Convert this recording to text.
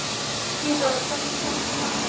Dynþór, hvernig kemst ég þangað?